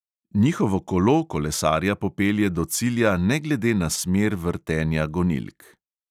Njihovo kolo kolesarja popelje do cilja ne glede na smer vrtenja gonilk.